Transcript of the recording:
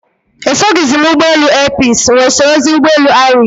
Esoghizi m ụgbọelu airpeace, m wee sorozie ụgbọelu ariks